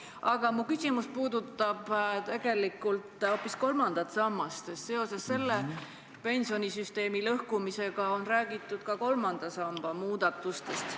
Aga mu küsimus puudutab tegelikult hoopis kolmandat sammast, sest seoses pensionisüsteemi lõhkumisega on räägitud ka kolmanda samba muudatustest.